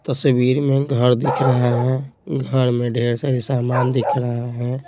तस्वीर में घर दिख रहा है घर में ढेर सारे समान दिख रहा हैं।